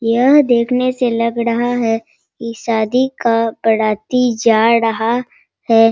यह देखने से लग रहा है इ शादी का बराती जा रहा है।